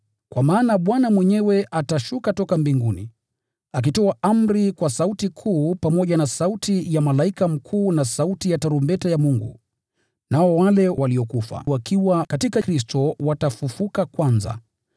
Kwa maana Bwana mwenyewe atashuka kutoka mbinguni, akitoa amri kwa sauti kuu, pamoja na sauti ya malaika mkuu, na sauti ya tarumbeta ya Mungu. Nao waliokufa wakiwa katika Kristo watafufuka kwanza.